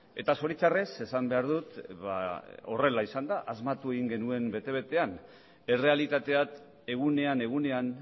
eta zoritzarrez esan behar dut ba horrela izan dela asmatu egin genuen bete betean errealitateak egunean egunean